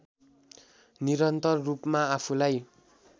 निरन्तर रूपमा आफूलाई